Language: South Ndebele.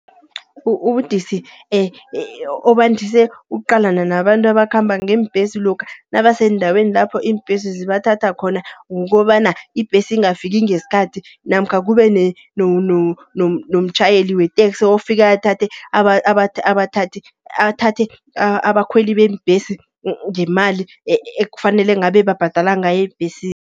Ubudisi obandise ukuqalana nabantu abakhamba ngeembesi, lokha nabaseendaweni lapho iimbesi zibathatha khona. Kukobana ibhesi ingafiki ngeskhathi, namkha kube nomtjhayeli weteksi ofika athathe abathathe athathe abakhweli beembhesi ngemali ekufanele ngabe babhadala ngayo ebhesini.